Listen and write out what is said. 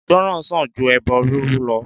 Ìgbọràn sàn ju ẹbọ rúrú lọ